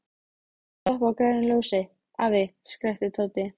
Ekki stoppa á grænu ljósi, afi! skrækti Tóti.